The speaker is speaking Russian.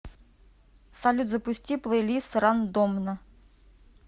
салют запусти плейлист рандомно